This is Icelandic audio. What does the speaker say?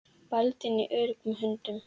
Baldvin var í öruggum höndum.